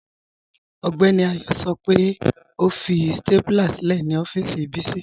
Ọgbẹ́ni Ayọ́ sọ́ pẹ́ ọ fi stápúlà sílẹ̀ ni ọ̀fíìsì Bisi